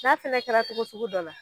N'a fɛnɛ kɛra togo sugu dɔ la